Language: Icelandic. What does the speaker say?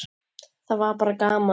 Það var bara gaman!